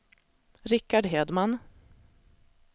Richard Hedman